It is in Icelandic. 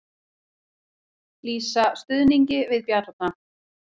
Lýsa stuðningi við Bjarna